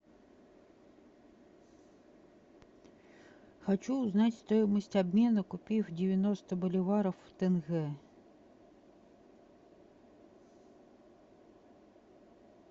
хочу узнать стоимость обмена купив девяносто боливаров в тенге